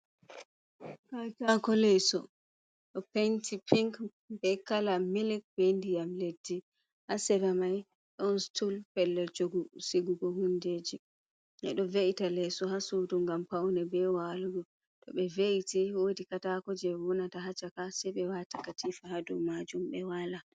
Katako leso ɗo penti pinc be kala milic be ndiyam leddi ha seramai ɗon stul pellel jogu sigugo hundeji ɓeɗo ve’ita leiso ha sudu gam paune be walugo to ɓe ve’iti wodi katako je wonata ha caka sei ɓe wata katifa hadau majum ɓe wala.